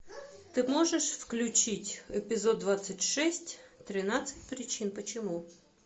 ты можешь включить эпизод двадцать шесть тринадцать причин почему